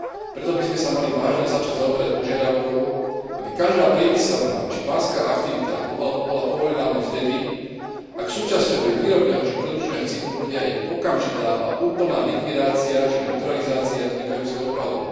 Preto by sme sa mali vážne začať zaoberať požiadavkou, aby každá priemyselná či banská aktivita bola povolená len vtedy, ak súčasťou jej výrobného či produkčného cyklu bude aj okamžitá a úplná likvidácia či neutralizácia vznikajúceho odpadu.